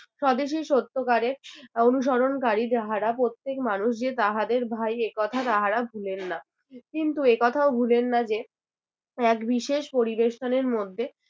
স্বদেশী সত্যকারে অনুসরণকারী যাহারা প্রত্যেক মানুষ যে তাহাদের ভাই এই কথা তাহারা ভুলেন না কিন্তু এই কথাও ভুলেন না যে এক বিশেষ পরিবেশ স্থানের মধ্যে